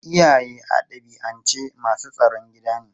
Iyaye a dabi'ance masu tsaron gida ne.